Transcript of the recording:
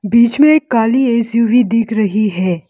बीच में एक काली एस_यू_वी हुई दिख रही है।